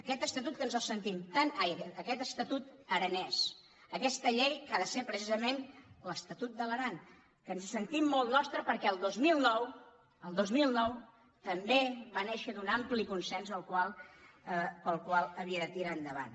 aquest estatut aranès aquesta llei que ha de ser precisament l’estatut de l’aran que ens el sentim molt nostre perquè el dos mil nou el dos mil nou també va néixer un ampli consens pel qual havia de tirar endavant